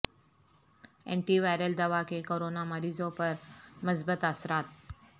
anti viral دوا کے corona مریضوں پر مثبت اثرات